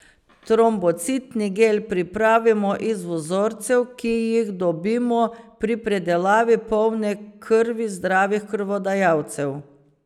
Trombocitni gel pripravimo iz vzorcev, ki jih dobimo pri predelavi polne krvi zdravih krvodajalcev.